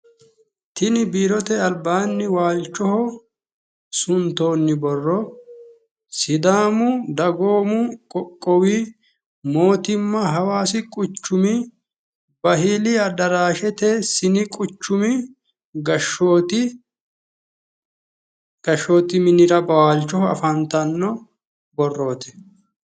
tini biirote albaannni waalchoho suntoonni borro sidaamu dagoommi qoqowi mootimma hawaasi quchumi bahili adaraashete sini quchumi gashshooti minira waalchoho afantanno borrooti.